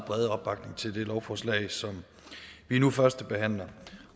brede opbakning til det lovforslag som vi nu førstebehandler